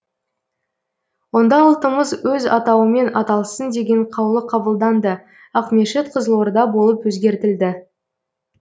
онда ұлтымыз өз атауымен аталсын деген қаулы қабылданды ақмешіт қызылорда болып өзгертілді